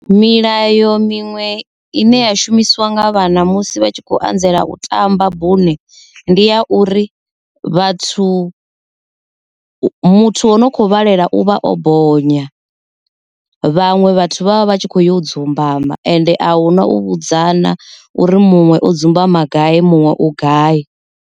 Milayo minwe ine ya shumisiwa nga vhana musi vha tshi kho anzela u tamba bune ndi ya uri vhathu muthu wa u kho vhalela u vha o bonya vhaṅwe vhathu vha vha vha tshi kho yo dzumba ma ende a hu si na u vhudzana uri muṅwe o dzumbama gai muṅwe u gai.